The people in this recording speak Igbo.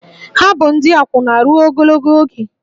Ha bụ ndị akwụna ruo ogologo oge